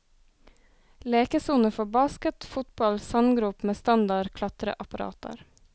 Lekesoner for basket, fotball, sandgrop med standard klatreapparater.